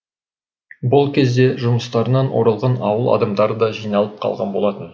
бұл кезде жұмыстарынан оралған ауыл адамдары да жиналып қалған болатын